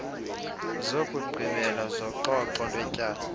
zokugqibela zoxoxo lwetyala